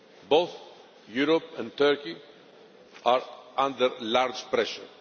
Both Europe and Turkey are under great pressure.